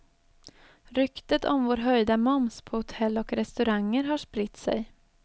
Ryktet om vår höjda moms på hotell och restauranger har spritt sig.